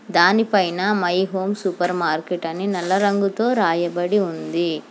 దానిపైన my home supermarket అని నల్ల రంగుతో రాయబడి ఉంది.